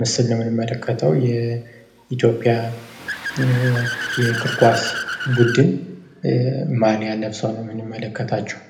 ምስል ንው ምንመለከተው፡፡ የኢትዮጵያን የእግር ኳስ ቡድን ማሊያን ለብሰው ነው ምንመለከታቸው፡፡